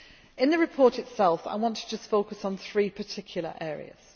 In the report itself, I want to just focus on three particular areas.